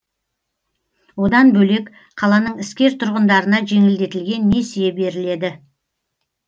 одан бөлек қаланың іскер тұрғындарына жеңілдетілген несие беріледі